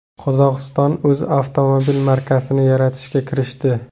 Qozog‘iston o‘z avtomobil markasini yaratishga kirishdi.